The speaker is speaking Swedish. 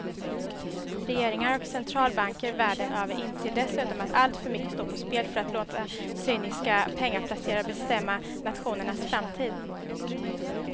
Regeringar och centralbanker världen över inser dessutom att alltför mycket står på spel för att låta cyniska pengaplacerare bestämma nationernas framtid.